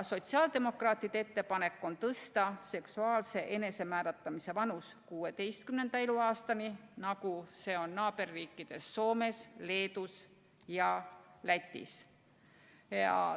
Sotsiaaldemokraatide ettepanek on tõsta seksuaalse enesemääratlemise vanus 16. eluaastani, nagu see on naaberriikides Soomes, Leedus ja Lätis.